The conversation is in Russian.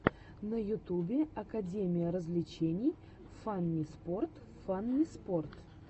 на ютубе академия развлечений фанниспорт фанниспорт